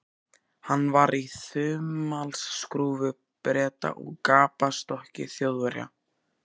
Hann var í þumalskrúfu Breta og gapastokki Þjóðverja.